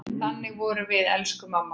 Þannig vorum við, elsku mamma.